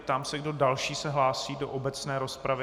Ptám se, kdo další se hlásí do obecné rozpravy.